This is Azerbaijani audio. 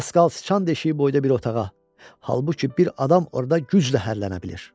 Darısqal siçan deşiyi boyda bir otağa, halbuki bir adam orda güclə hərlənə bilir.